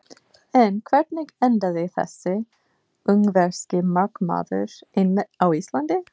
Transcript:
En hvernig endaði þessi ungverski markmaður einmitt á Íslandi?